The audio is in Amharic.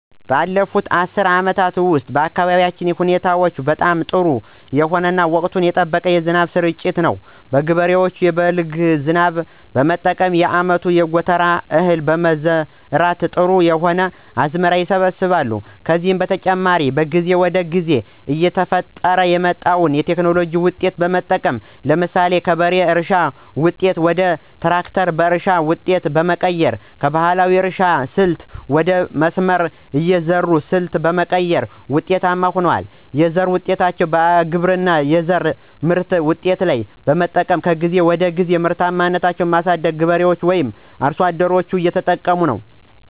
ባለፉት አስርት አመታት ውስጥ በአካባቢያችን የአየር ሁኔታዎች በጣም ጥሩ የሆነ እና ወቅቱን የጠበቀ የዝናብ ስርጭት ነው። ገበሬዎች የበልግ ዝናብ በመጠቀም የአመቱን የጎተራ እህል በመዝራት ጥሩ የሆነ አዝመራ ይሰበስባሉ። ከዚህ በተጨማሪ ከጊዜ ወደ ጊዜ እየተፈጠረ የመጣዉን የቴክኖሎጂ ዉጤቶች በመጠቀም ለምሳሌ ከበሬ እርሻ ዉጤቶች ወደ ትራክተር የእርሻ ዉጤቶች በመቀየር እና ከባህላዊ የእርሻ ስልት ወደ መስመር የአዘራር ሰልት በመቀየር ውጤታማ ሁነዋል። የዘር ዉጤቶችን በግብርና የዘር ምርምር ውጤቶች በመጠቀም ከጊዜ ወደ ጊዜ ምርታማነትን በማሳደግ ገበሬዎች ወይም አርሶ አደሮች እየተጠቀሙ ነው።